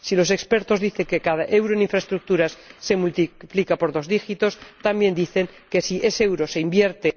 Si los expertos dicen que cada euro en infraestructuras se multiplica por dos dígitos, también dicen que si ese euro se invierte.